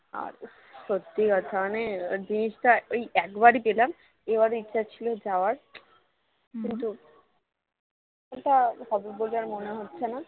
সত্যি কথা মানে beach টা একবারই পেলাম এবারও ইচ্ছা ছিল যাওয়ার কিন্তু এটা হবে বলে আর মনে হচ্ছে না